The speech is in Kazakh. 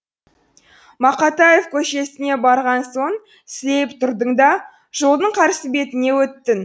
мақатаев көшесіне барған соң сілейіп тұрдың да жолдың қарсы бетіне өттің